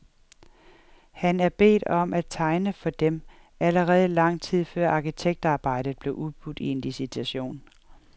Han er bedt om at tegne for dem, allerede lang tid før arkitektarbejdet bliver udbudt i en licitation.